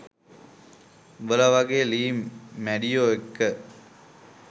උබලා වගෙ ලිං මැඩියො එක්ක